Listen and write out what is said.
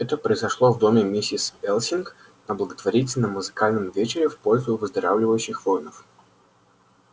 это произошло в доме миссис элсинг на благотворительном музыкальном вечере в пользу выздоравливающих воинов